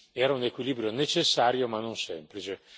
Era un equilibrio necessario ma non semplice.